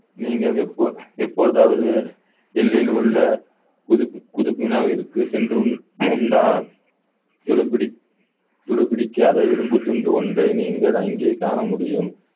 நீங்கள் எப்பொ~ எப்பொழுதாவது டெல்லியில் உள்ள புதுப்பி~ புதுப்பினாவிற்கு சென்று கொண்டு துருபிடி~ துருப்பிடிக்காத இரும்புத் துண்டு ஒன்றை நீங்கள் அங்கே காண முடியும்